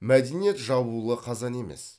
мәдениет жабулы қазан емес